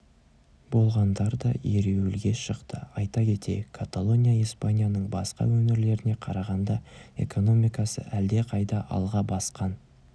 болғандар да ереуілге шықты айта кетейік каталония испанияның басқа өңірлеріне қарағанда экономикасы әлдеқайда алға басқан